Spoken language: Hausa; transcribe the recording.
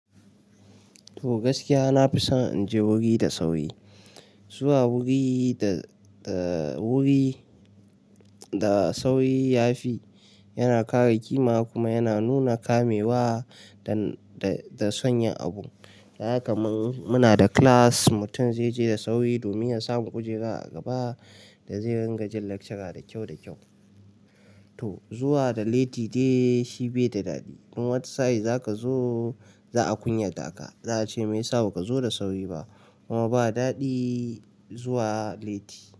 To gaskiya, nafi son in je wuri da sauri. Zuwa wuri da, da wuri da sauri yafi, yana kare ƙima kuma yana nuna kamewa da, da son yin abu. Ka gaa kaman muna da class, mutum zai je da sauri domin ya samu kujera a gaba da zai ringa jin lakcara da kyau da kyau. To zuwa da latti dai shi bai da daɗi. Dan wata sa'in zaka zo, za a kunyata ka. Za a ce me yasa ba ka zo da sauri ba. Kuma ba daɗi zuwa liti.